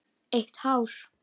Eitt hár.